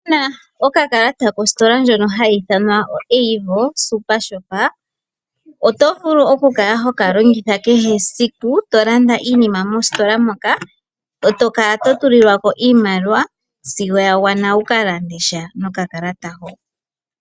Uuna wuna okakalata kositola ndjono hayi ithanwa o Avo supershop oto vulu oku kala hokalongitha kehe esiku tolanda iinima mositola moka eto kala totulilwako iimaliwa sigo yagwana wu vule oku kalanda sha mositola mo.